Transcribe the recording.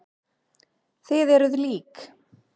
Þið eruð lík.